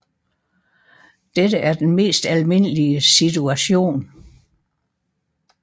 Dette er den mest almindelige situation